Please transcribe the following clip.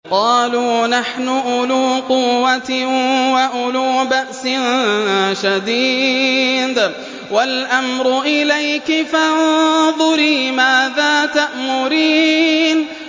قَالُوا نَحْنُ أُولُو قُوَّةٍ وَأُولُو بَأْسٍ شَدِيدٍ وَالْأَمْرُ إِلَيْكِ فَانظُرِي مَاذَا تَأْمُرِينَ